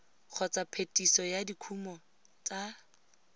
kgotsa phetiso ya dikumo tsa